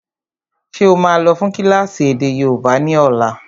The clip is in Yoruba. Ṣé ó máa lọ fún kílásì èdè yóòbá ni ọ̀la?